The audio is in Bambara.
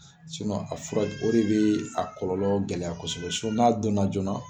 a fura o de bɛ a kɔlɔlɔ gɛlɛya kɔsɔbɛ n'a don na joona